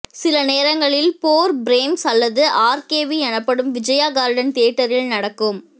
சில நேரங்களில் four frames அல்லது ஆர்கேவி எனப்படும் விஜயா கார்டன் தியேட்டரில் நடக்கும்